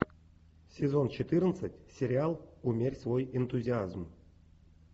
сезон четырнадцать сериал умерь свой энтузиазм